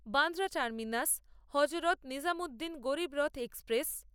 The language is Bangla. Bandra terminus Hazrat Nizamuddin Garib Rath express